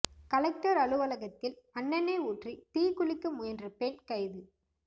collector அலுவலகத்தில் மண்எண்ணெய் ஊற்றி தீ குளிக்க முயன்ற பெண் கைது